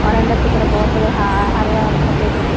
और अंदर की तरफ बोहोत सारे हा हरे और सफ़ेद गुब --